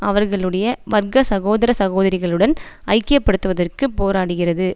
அவர்களுடைய வர்க்க சகோதர சகோதரிகளுடன் ஐக்கியப்படுத்துவதற்குப் போராடுகிறது